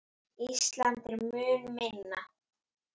Ísland er mun minna.